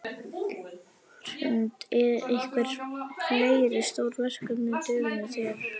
Hrund: Einhver fleiri stór verkefni á döfinni hjá þér?